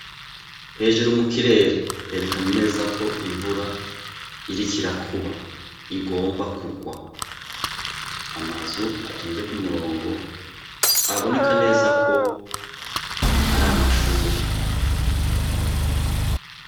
Hejuru mu kirere herekana neza ko imvura irikira kuba igomba kurwa amazu atonzeko umurongo aboneka neza ko ari amashuri.